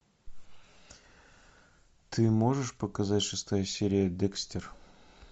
ты можешь показать шестая серия декстер